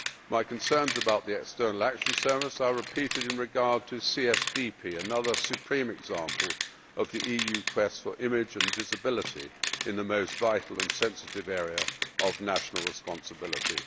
My concerns about the European External Action Service are repeated in regard to CSDP, another supreme example of the EU quest for image and visibility in the most vital and sensitive area of national responsibility.